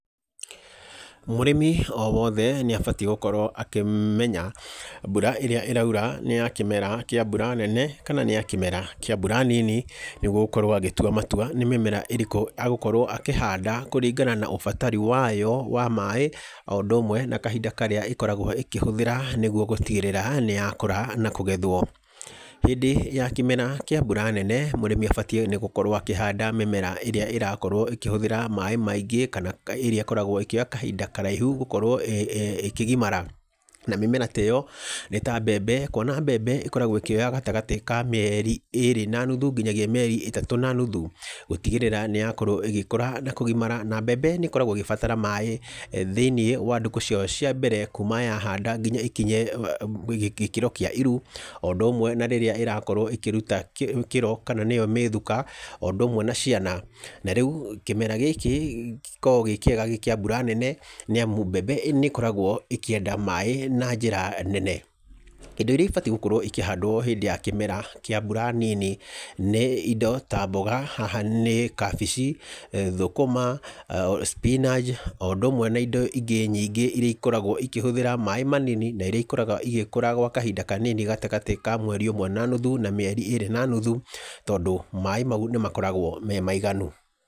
Mũrĩmi o wothe nĩ abatiĩ gũkorwo akĩmenya mbura ĩrĩa ĩraura nĩ ya kĩmera kĩa mbura nene kana nĩ ya kĩmera kĩa mbura nini, nĩguo gũkorwo agĩtua matua nĩ mĩmera ĩrĩkũ agũkorwo akĩhanda kũringana na ũbatari wayo wa maaĩ, o ũndũ ũmwe na kahinda karĩa ĩkoragwo ĩkĩhũthĩra nĩguo gũtigĩrĩra nĩ yakũra na kũgethwo. Hĩndĩ ya kĩmera kĩa mbura nene mũrĩmi abatiĩ nĩ gũkorwo akĩhanda mĩmera ĩrĩa ĩrakorwo ĩkĩhũthĩra maaĩ maingĩ kana ĩrĩa ĩkoragwo ĩkĩoya kahinda karaihu gũkorwo ĩkĩgimara, na mĩmera ta ĩyo nĩ ta mbembe kwona mbembe ĩkoragwo ĩkĩoya gatagatĩ ka mĩeri ĩrĩ na nuthu nginyagia mĩeri ĩtatũ na nuthu gũtigĩrĩra nĩ yakorwo ĩgĩkũra na kũgimara na mbembe nĩ ĩkoragwo ĩgĩbatara maaĩ thĩ-inĩ wa ndukũ ciayo cia mbere kuma yahanda nginya ĩkinye gĩkĩro kĩa iru, o ũndũ ũmwe na rĩrĩa ĩrakorwo ĩkĩruta kĩro kana nĩyo mĩthuka, o ũndũ ũmwe na ciana. Na rĩu, kĩmera gĩkĩ gĩkoragwo gĩ kĩega gĩ kĩa mbura nene nĩamu mbembe nĩ ĩkoragwo ĩkĩenda maaĩ na njĩra nene. Indo iria ĩbatiĩ gũkorwo ikĩhandwo hĩndĩ ya kĩmera kĩa mbura nini nĩ indo ta mboga, haha ni kabici, thũkũma, spinach, o ũndũ ũmwe na indo ingĩ nyingĩ iria ikoragwo ĩkĩhũthĩra maaĩ manini na iria ikoragwo igĩkũra gwa kahinda kanini; gatagatĩ ka mweri ũmwe na nuthu na mĩeri ĩrĩ na nuthu, tondu maaĩ mau nĩ makoragwo me maiganu.